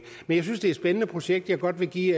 men jeg synes det er et spændende projekt jeg godt vil give